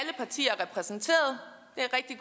repræsenteret